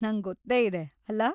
ನಂಗೊತ್ತೇ ಇದೆ, ಅಲ್ಲ?